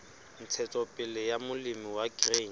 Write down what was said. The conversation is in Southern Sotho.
ntshetsopele ya molemi wa grain